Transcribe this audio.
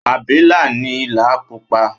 abilà ni ìlà púpò